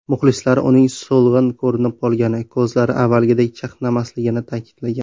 Muxlislari uning so‘lg‘in ko‘rinib qolgani, ko‘zlari avvalgidek chaqnamasligini ta’kidlagan.